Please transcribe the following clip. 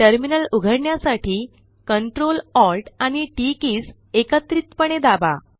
terminal उघडण्यासाठी Ctrl Alt आणि TT keys एकत्रितपणे दाबा